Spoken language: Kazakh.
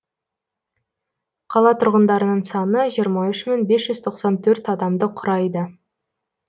қала тұрғындарының саны жиырма үш мың бес жүз тоқсан төрт адамды құрайды